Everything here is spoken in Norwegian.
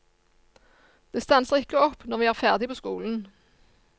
Det stanser ikke opp når vi er ferdig på skolen.